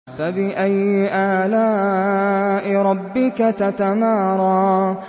فَبِأَيِّ آلَاءِ رَبِّكَ تَتَمَارَىٰ